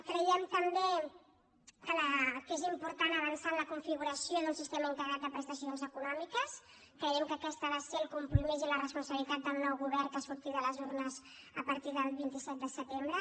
creiem també que és important avançar en la configuració d’un sistema integrat de prestacions econòmiques creiem que aquest ha de ser el compromís i la responsabilitat del nou govern que surti de les urnes a partir del vint set de setembre